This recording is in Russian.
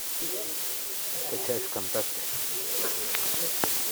скачать вконтакте